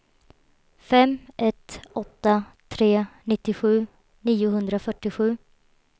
fem ett åtta tre nittiosju niohundrafyrtiosju